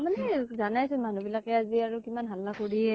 মানে জানাই তো, মানুহ বিলাকে কিমান হাল্লা কৰি য়ে